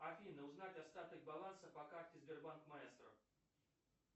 афина узнать остаток баланса по карте сбербанк маэстро